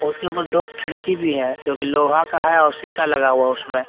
उसके ऊपर दो खिड़की भी है जो की लोहा का है और शीशा लगा हुआ उसमें।